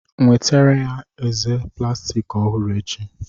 Nwetara ya eze plastiki ọhụrụ echi.